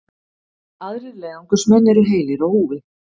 Aðrir leiðangursmenn eru heilir á húfi